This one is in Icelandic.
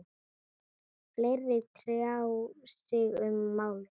Fleiri tjá sig um málið